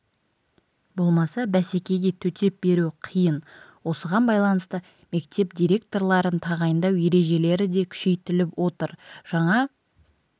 болмаса бәсекеге төтеп беру қиын осыған байланысты мектеп директорларын тағайындау ережелері де күшейтіліп отыр жаңа